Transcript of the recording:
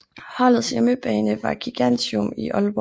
Holdets hjemmebane var Gigantium i Aalborg